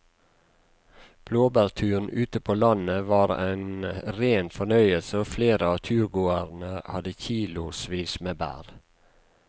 Blåbærturen ute på landet var en rein fornøyelse og flere av turgåerene hadde kilosvis med bær.